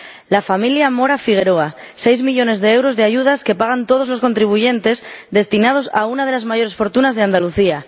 La familia Mora Figueroa 6 millones de euros de ayudas, que pagan todos los contribuyentes, destinados a una de las mayores fortunas de Andalucía.